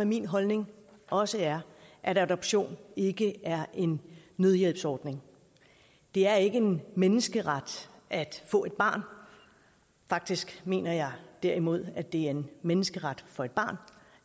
at min holdning også er at adoption ikke er en nødhjælpsordning det er ikke en menneskeret at få et barn faktisk mener jeg derimod at det er en menneskeret for et barn